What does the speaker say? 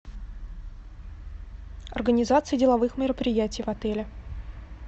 организация деловых мероприятий в отеле